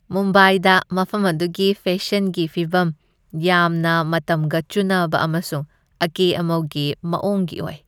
ꯃꯨꯝꯕꯥꯏꯗ ꯃꯐꯝ ꯑꯗꯨꯒꯤ ꯐꯦꯁꯟꯒꯤ ꯐꯤꯚꯝ ꯌꯥꯝꯅ ꯃꯇꯝꯒ ꯆꯨꯅꯕ ꯑꯃꯁꯨꯡ ꯑꯀꯦ ꯑꯃꯧꯒꯤ ꯃꯥꯑꯣꯡꯒꯤ ꯑꯣꯏ ꯫